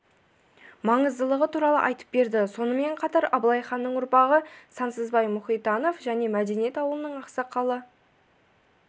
маңыздылығы туралы айтып берді сонымен қатар абылай ханның ұрпағы сансызбай мұхитанов және мәдениет ауылының ақсақалы